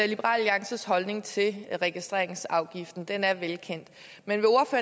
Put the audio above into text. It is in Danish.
liberal alliances holdning til registreringsafgiften den er velkendt men